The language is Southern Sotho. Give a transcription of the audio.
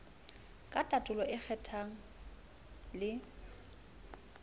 ka tatolo ba kgemang le